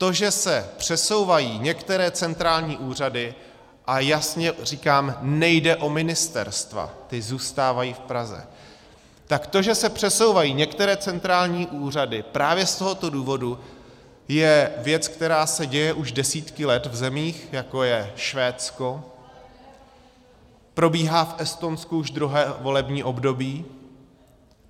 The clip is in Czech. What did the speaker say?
To, že se přesouvají některé centrální úřady - a jasně říkám, nejde o ministerstva, ta zůstávají v Praze - tak to, že se přesouvají některé centrální úřady, právě z tohoto důvodu je věc, která se děje už desítky let v zemích, jako je Švédsko, probíhá v Estonsku už druhé volební období.